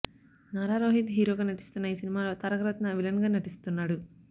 నారా రోహిత్ హీరోగా నటిస్తున్న ఈ సినిమాలో తారకరత్న విలన్గా నటిస్తున్నాడు